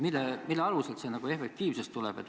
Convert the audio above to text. Mille alusel see efektiivsus tuleb?